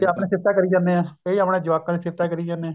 ਕਈ ਆਪਣੀਆ ਸਿਫਤਾਂ ਕਰੀ ਜਾਨੇ ਏ ਕਈ ਆਪਣੇ ਜਵਾਕਾਂ ਦੀਆ ਸਿਫ਼ਤਾਂ ਕਰੀ ਜਾਨੇ ਏ